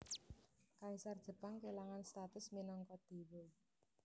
Kaisar Jepang kélangan status minangka déwa